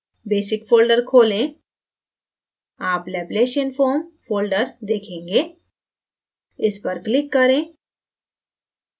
basic folder खोलें आप laplacianfoam folder देखेंगे इस पर click करें